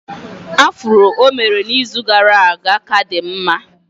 Afro o mere n'izu gara aga ka dị mma